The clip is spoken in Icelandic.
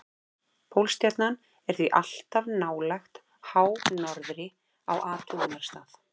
Pólstjarnan er því alltaf nálægt hánorðri á athugunarstað.